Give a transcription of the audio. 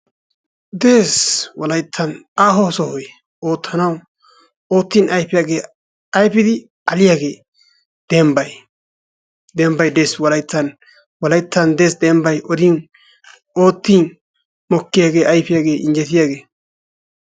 Dees, wolayttan aaho sohoy oottanaw, oottin ayfiyaage, ayfidi alliyaagee dembbay, dembnay des wolayttan, wolayttan des dembbay odin, oottin mokkiyaagee, ayfiyaagee, injjetiyaagee.